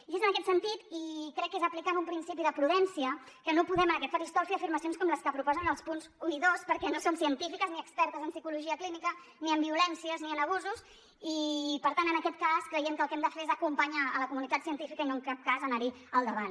i és en aquest sentit i crec que és aplicant un principi de prudència que no podem en aquest faristol fer afirmacions com les que proposen en els punts un i dos perquè no són científiques ni expertes en psicologia clínica ni en violències ni en abusos i per tant en aquest cas creiem que el que hem de fer és acompanyar la comunitat científica i no en cap cas anarhi al davant